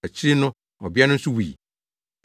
Akyiri no ɔbea no nso wui.